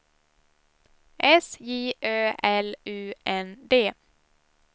S J Ö L U N D